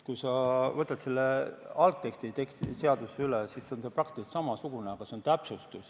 Kui sa võtad selle algteksti seadusest üle, siis see on praktiliselt samasugune, aga see on täpsustus.